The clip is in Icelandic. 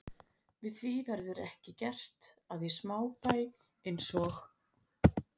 Við því verður ekki gert, að í smábæ eins og